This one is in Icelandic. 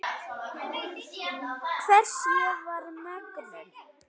Hvers ég var megnug.